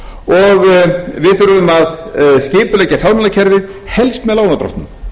og við þurfum að skipuleggja fjármálakerfið helst með lánardrottnum